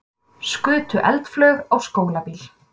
Skutu eldflaug á skólabíl